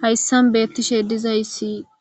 Hayisan betishe dizayis